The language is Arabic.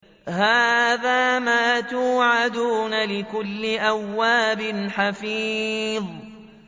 هَٰذَا مَا تُوعَدُونَ لِكُلِّ أَوَّابٍ حَفِيظٍ